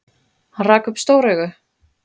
Hann rak upp stór augu.